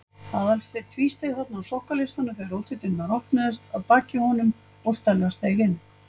Aðalsteinn tvísteig þarna á sokkaleistunum þegar útidyrnar opnuðust að baki honum og Stella steig inn.